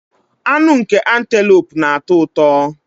Anụ nke Antelope na-atọ ụtọ